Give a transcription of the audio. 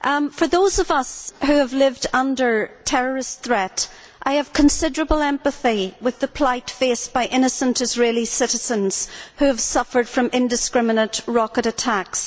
For those of us who have lived under terrorist threat, I have considerable empathy with the plight faced by innocent Israeli citizens who have suffered from indiscriminate rocket attacks.